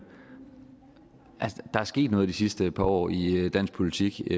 er sket noget i de sidste par år i i dansk politik